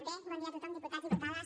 bé bon dia a tothom diputats diputades